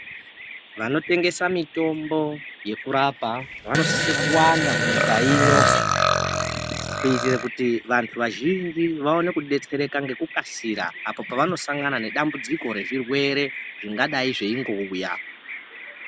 Vanotengesa mitombo yekurapa vanosisa kuwanda munyika ino. Kuitira kuti vantu vazhinji vaone kubetsereka ngekukasira apovanosangana nedambudziko rezvirwere zvingadai zveingouya.